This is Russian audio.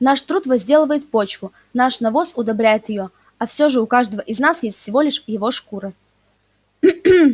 наш труд возделывает почву наш навоз удобряет её и все же у каждого из нас есть всего лишь его шкура